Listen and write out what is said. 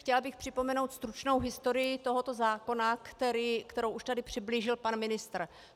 Chtěla bych připomenout stručnou historii tohoto zákona, kterou už tady přiblížil pan ministr.